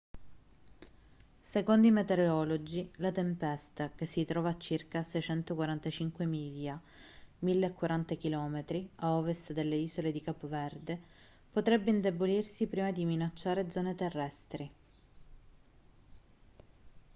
secondo i meteorologi la tempesta che si trova a circa 645 miglia 1.040 km a ovest delle isole di capo verde potrebbe indebolirsi prima di minacciare zone terrestri